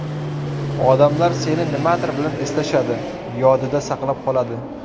Odamlar seni nimadir bilan eslashadi, yodida saqlab qoladi.